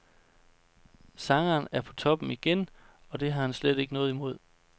Sangeren er på toppen igen, og det har han slet ikke noget imod.